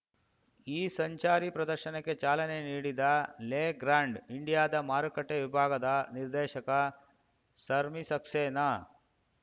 ಈ ಸಂಚಾರಿ ಪ್ರದರ್ಶನಕ್ಕೆ ಚಾಲನೆ ನೀಡಿದ ಲೆಗ್ರಾಂಡ್‌ ಇಂಡಿಯಾದ ಮಾರುಕಟ್ಟೆವಿಭಾಗದ ನಿರ್ದೇಶಕ ಸರ್ಮೀ ಸಕ್ಸೆನಾ